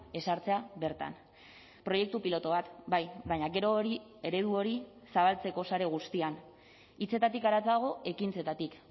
ezartzea bertan proiektu pilotu bat bai baina gero hori eredu hori zabaltzeko sare guztian hitzetatik haratago ekintzetatik